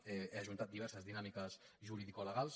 he ajuntat diverses dinàmiques juridicolegals